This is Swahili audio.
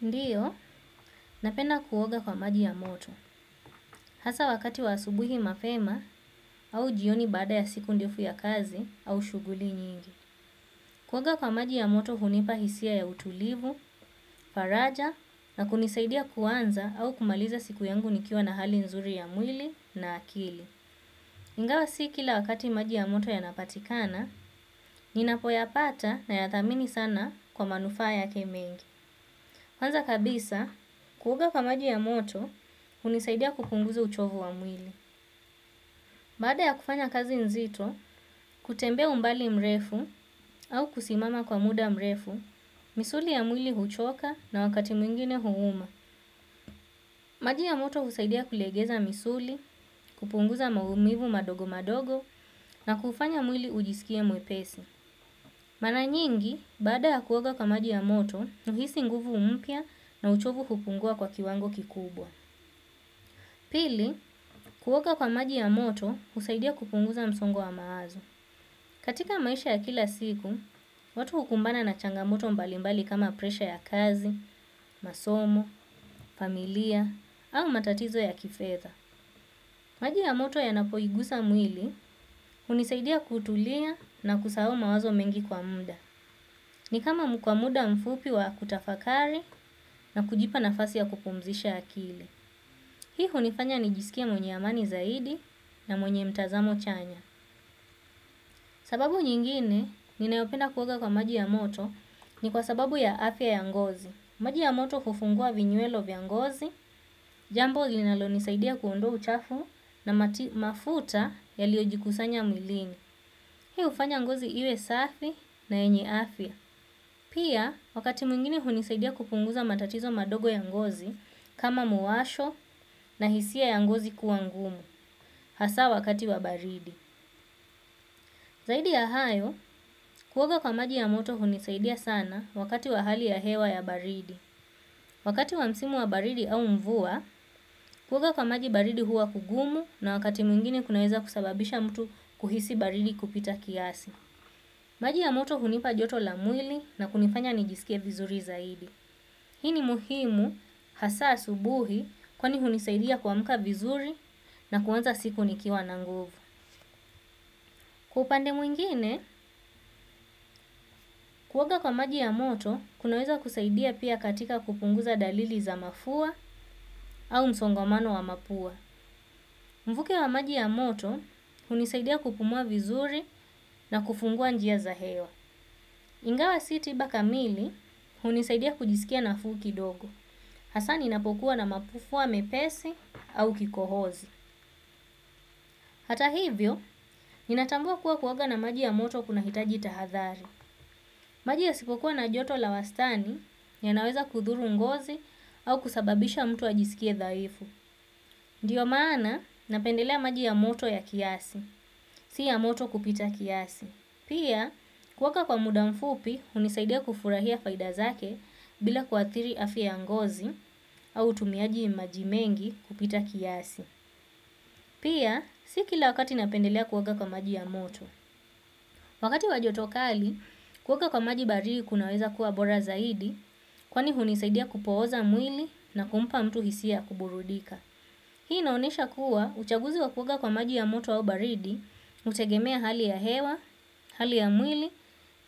Ndiyo, napenda kuoga kwa maji ya moto, hasa wakati wa asubuhi mapema au jioni baada ya siku ndefu ya kazi au shuguli nyingi. Kuoga kwa maji ya moto hunipa hisia ya utulivu, faraja na kunisaidia kuanza au kumaliza siku yangu nikiwa na hali nzuri ya mwili na akili. Ingawa si kila wakati maji ya moto yanapatikana, ninapoyapata nayathamini sana kwa manufaa yake mengi. Kwanza kabisa, kuoga kwa maji ya moto, hunisaidia kupunguza uchovu wa mwili. Baada ya kufanya kazi nzito, kutembea umbali mrefu au kusimama kwa muda mrefu, misuli ya mwili huchoka na wakati mwingine huuma. Maji ya moto husaidia kulegeza misuli, kupunguza maumivu madogo madogo na kufanya mwili ujisikia mwepesi. Mara nyingi, baada ya kuoga kwa maji ya moto, nahisi nguvu mpya na uchovu kupungua kwa kiwango kikubwa. Pili, kuoga kwa maji ya moto husaidia kupunguza msongo wamawazo. Katika maisha ya kila siku, watu hukumbana na changamoto mbalimbali kama presha ya kazi, masomo, familia, au matatizo ya kifedha. Maji ya moto yanapoigusa mwili hunisaidia kutulia na kusahau mawazo mengi kwa muda. Ni kama ni kwa muda mfupi wa kutafakari na kujipa nafasi ya kupumzisha akili. Hii hunifanya nijisikie mwenye amani zaidi na mwenye mtazamo chanya. Sababu nyingine ninayopenda kuoga kwa maji ya moto ni kwa sababu ya afya ya ngozi. Maji ya moto hufungua vinyuelo vya ngozi, jambo linalo nisaidia kuondoa uchafu na mafuta yaliojikusanya mwilini. Hii hufanya ngozi iwe safi na yenye afia. Pia, wakati mwingine hunisaidia kupunguza matatizo madogo ya ngozi kama muwasho na hisia ya ngozi kuwa ngumu. Hasa wakati wabaridi. Zaidi ya hayo, kuoga kwa maji ya moto hunisaidia sana wakati wa hali ya hewa ya baridi. Wakati wa msimu wa baridi au mvua, kuoga kwa maji baridi huwa kugumu na wakati mwingine kunaweza kusababisha mtu kuhisi baridi kupita kiasi. Maji ya moto hunipa joto la mwili nakunifanya nijiskie vizuri zaidi. Hii ni muhimu hasa asubuhi kwani hunisaidia kuamka vizuri na kuanza siku nikiwa na nguvu. Kwa upande mwingine, kuoga kwa maji ya moto, kunaweza kusaidia pia katika kupunguza dalili za mafua au msongomano wa mapua. Mvuke wa maji ya moto hunisaidia kupumua vizuri na kufungua njia za hewa. Ingawa si tiba kamili hunisaidia kujisikia nafuu kidogo. Hasaa ninapokuwa na mafuwa mepesi au kikohozi. Hata hivyo, ninatambua kuwa kuoga na maji ya moto kunahitaji tahadhari. Maji yasipokuwa na joto la wastani yanaweza kuthuru ngozi au kusababisha mtu ajisikie dhaifu. Ndiyo maana napendelea maji ya moto ya kiasi, si ya moto kupita kiasi. Pia, kuoga kwa muda mfupi, hunisaidia kufurahia faida zake bila kuathiri afia ya ngozi au utumiaji maji mengi kupita kiasi. Pia, si kila wakati napendelea kuoga kwa maji ya moto. Wakati wa joto kali, kuoga kwa maji baridi kunaweza kuwa bora zaidi, kwani hunisaidia kupooza mwili na kumpa mtu hisia ya kuburudika. Hii inaonyesha kuwa uchaguzi wa kuoga kwa maji ya moto au baridi, hutegemea hali ya hewa, hali ya mwili